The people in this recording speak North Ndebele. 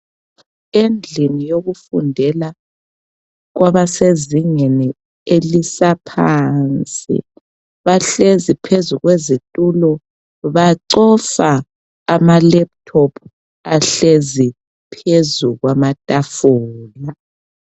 Endlini yokufundela kwabasezingeni elisaphansi bahlezi phezu kwezitulo bacofa amalephuthophu ahlezi phezu kwamatafula.